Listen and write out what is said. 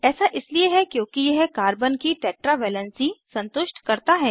ऐसा इसलिए है क्योंकि यह कार्बन की टैट्रा वैलेंसी संतुष्ट करता है